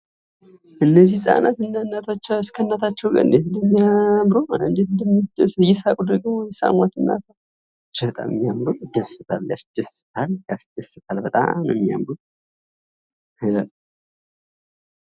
እነዚህ ህጻናትና እናቶች እንዴት እንደሚያምሩ!! እጅግ በጣም ያስደስታል። በጣም ነው የሚያምሩ።